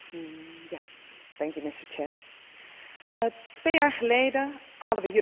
Twee jaar geleden hadden we hier het eerste debat over kwalijke retoriek rond vrij verkeer.